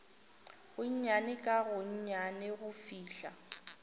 gonnyane ka gonnyane go fihla